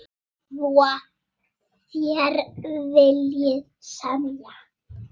Svo þér viljið semja?